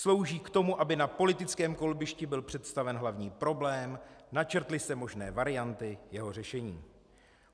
Slouží k tomu, aby na politickém kolbišti byl představen hlavní problém, načrtly se možné varianty jeho řešení.